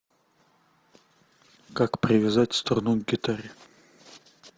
как привязать струну к гитаре